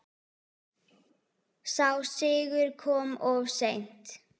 Sá sigur kom of seint.